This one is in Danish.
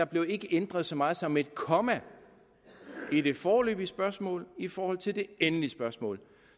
blev ændret så meget som et komma i det foreløbige spørgsmål i forhold til det endelige spørgsmål